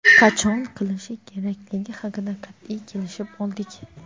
qachon qilishi kerakligi haqida qat’iy kelishib oldik.